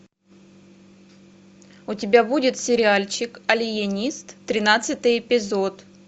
у тебя будет сериальчик алиенист тринадцатый эпизод